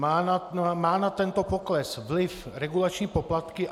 Mají na tento pokles vliv regulační poplatky?